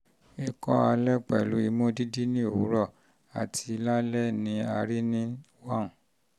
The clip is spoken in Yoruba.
ikọ́ alẹ́ pẹ̀lú imú dídí ní òwúrọ̀ àti lálẹ́ ni a rí nínú one